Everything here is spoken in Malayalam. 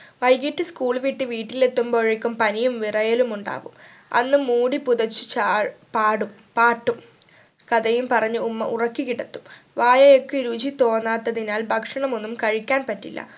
വൈകീട്ട് school വിട്ട് വീട്ടിൽ എത്തുമ്പോഴേക്കും പനിയും വിറയലും ഉണ്ടാവും അന്ന് മൂടി പുതച്ച് ചാ ആഹ് പാടും പാട്ടും കഥയും പറഞ്ഞു ഉമ്മ ഉറക്കി കിടത്തും വായയ്ക്ക് രുചി തോന്നാത്തതിനാൽ ഭക്ഷണം ഒന്നും കഴിക്കാൻ പറ്റില്ല